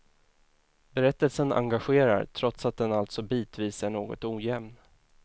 Berättelsen engagerar trots att den alltså bitvis är något ojämn.